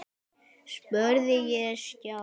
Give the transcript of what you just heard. spurði ég Stjána.